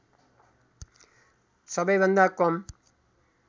सबै भन्दा कम